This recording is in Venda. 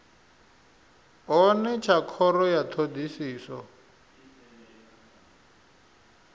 hone tsha khoro ya thodisiso